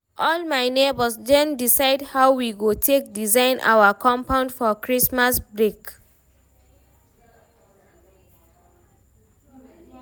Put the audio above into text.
All my nebors don decide how we go take design our compound for Christmas break